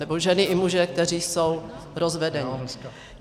Nebo ženy i muži, kteří jsou rozvedení.